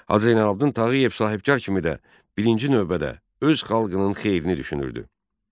Hacı Zeynalabdin Tağıyev sahibkar kimi də birinci növbədə öz xalqının xeyrini düşünürdü.